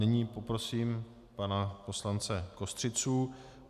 Nyní poprosím pana poslance Kostřicu.